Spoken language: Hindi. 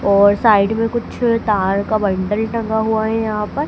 और साइड में कुछ तार का बंडल टंगा हुआ है यहाँ पर।